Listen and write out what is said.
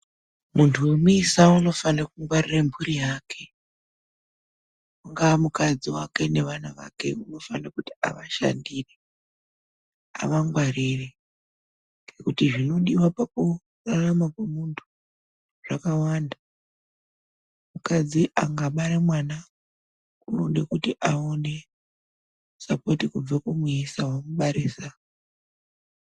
Muntu womuisa unofane kungwarire mburi yake. Ungaa mukadzi wake nevana vake, unofane kuti avashandire, avangwarire kuti zvinodiwa pakurarama kwomuntu zvakawanda. Mukadzi angabara mwana unode kuti awone sapoti kubva kumuisa wamubarisa.